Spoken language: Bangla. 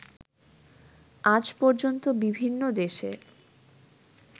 আজ পর্যন্ত বিভিন্ন দেশে